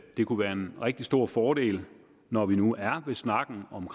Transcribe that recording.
det kunne være en rigtig stor fordel når vi nu er ved snakken om